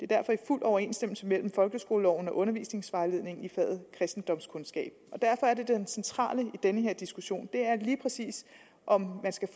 derfor fuld overensstemmelse mellem folkeskoleloven og undervisningsvejledningen i faget kristendomskundskab det centrale i den her diskussion er derfor lige præcis om man skal